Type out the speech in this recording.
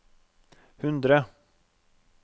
hundre